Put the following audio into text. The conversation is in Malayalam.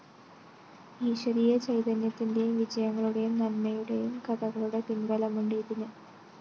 ഈശ്വരീയ ചൈതന്യത്തിന്റെയും വിജയങ്ങളുടെയും നന്മയുടെയും കഥകളുടെ പിന്‍ബലമുണ്ട് ഇതിന്